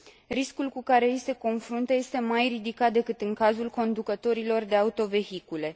Riscul cu care ei se confruntă este mai ridicat decât în cazul conducătorilor de autovehicule.